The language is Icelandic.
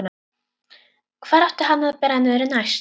Hvar átti hann að bera niður næst?